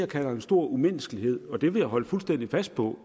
kalder en stor umenneskelighed og det vil jeg holde fuldstændig fast på